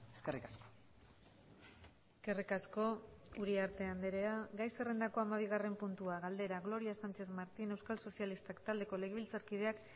eskerrik asko eskerrik asko uriarte andrea gai zerrendako hamabigarren puntua galdera gloria sánchez martín euskal sozialistak taldeko legebiltzarkideak